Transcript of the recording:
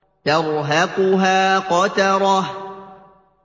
تَرْهَقُهَا قَتَرَةٌ